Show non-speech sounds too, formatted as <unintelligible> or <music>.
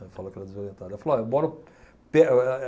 Eu falo que ela é desorientada. Ela falou olha, bora o pé <unintelligible>